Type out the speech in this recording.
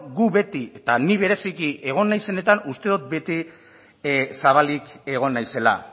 gu beti eta ni bereziki egon naizenetan uste dut bete zabalik egon naizela